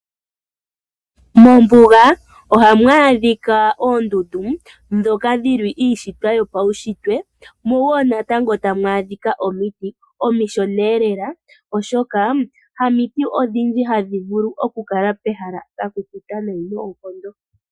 Mombuga oha mu adhika oondundu dhoka dhi li iishitwa yo pawushitwe mo wo natango tamu adhika omiti omishona lela oshoka, hamiti odhindji ha dhi vulu oku kala pehala lya kukuta neyi noonkondo.